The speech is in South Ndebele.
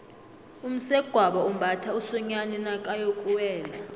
umsegwabo umbatha umsonyani nakayokuwela